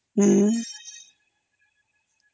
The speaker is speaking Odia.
ହଁ ହଁ